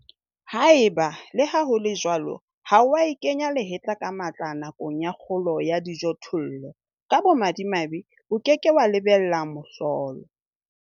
Haeba, le ha ho le jwalo, ha wa e kenya lehetla ka matla nakong ya kgolo ya dijothollo, ka bomadimabe o ke ke wa lebella mohlolo.